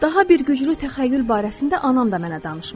Daha bir güclü təxəyyül barəsində anam da mənə danışmışdı.